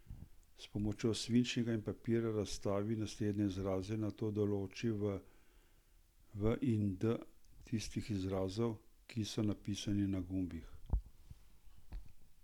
S pomočjo svinčnika in papirja razstavi naslednje izraze, nato določi v in D tistih izrazov, ki so napisani na gumbih.